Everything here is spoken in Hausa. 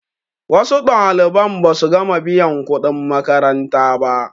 wasu ɗaliban ba su gama biyan kuɗin makaranta ba